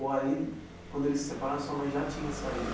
Ou aí, quando eles se separaram, sua mãe já tinha saído?